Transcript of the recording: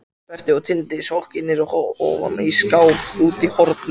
Berti og Diddi sokknir ofan í skák úti í horni.